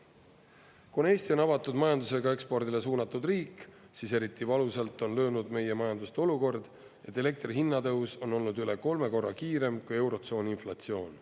Kuna Eesti on avatud majandusega ekspordile suunatud riik, siis eriti valusalt on löönud meie majandust olukord, et elektri hinna tõus on olnud üle kolme korra kiirem kui eurotsooni inflatsioon.